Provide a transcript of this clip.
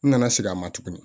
N nana segin a ma tuguni